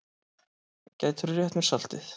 Gætirðu rétt mér saltið?